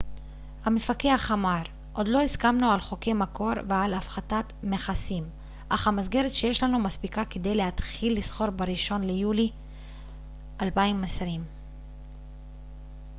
המפקח אמר עוד לא הסכמנו על חוקי מקור ועל הפחתת מכסים אך המסגרת שיש לנו מספיקה כדי להתחיל לסחור בראשון ליולי 2020